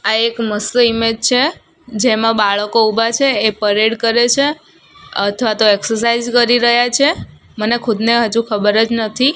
આ એક મસ્ત ઇમેજ છે જેમા બાળકો ઊભા છે એ પરેડ કરે છે અથવા તોહ એક્સરસાઇઝ કરી રહ્યા છે મને ખુદને અજુ ખબરજ નથી.